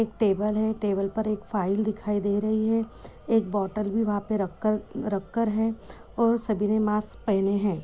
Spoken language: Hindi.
एक टेबल है टेबल पर एक फ़ाइल दिखाई दे रही है। एक बॉटल भी वहाँ पे रखकर रखकर है और सभिने मास्क पहने है।